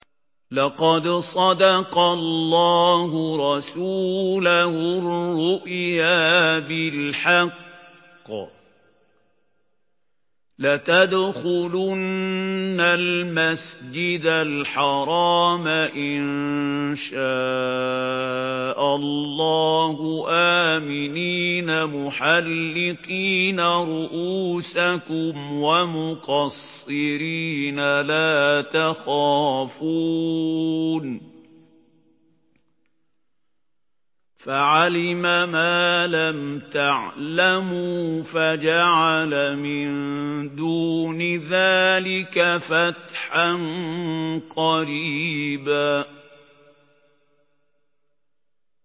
لَّقَدْ صَدَقَ اللَّهُ رَسُولَهُ الرُّؤْيَا بِالْحَقِّ ۖ لَتَدْخُلُنَّ الْمَسْجِدَ الْحَرَامَ إِن شَاءَ اللَّهُ آمِنِينَ مُحَلِّقِينَ رُءُوسَكُمْ وَمُقَصِّرِينَ لَا تَخَافُونَ ۖ فَعَلِمَ مَا لَمْ تَعْلَمُوا فَجَعَلَ مِن دُونِ ذَٰلِكَ فَتْحًا قَرِيبًا